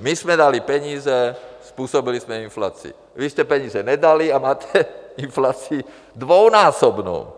my jsme dali peníze, způsobili jsme inflaci, vy jste peníze nedali a máte inflaci dvojnásobnou?